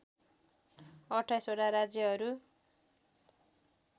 २८ वटा राज्यहरू